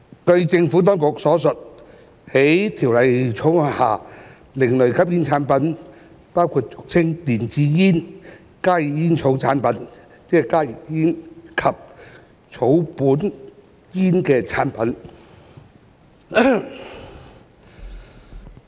據政府當局所述，在《條例草案》下，另類吸煙產品包括俗稱電子煙、加熱煙草產品及草本煙的產品。